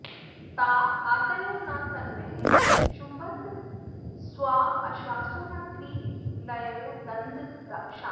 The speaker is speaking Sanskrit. ता आ॒तयो॒ न त॒न्वः॑ शुम्भत॒ स्वा अश्वा॑सो॒ न क्री॒ळयो॒ दन्द॑शानाः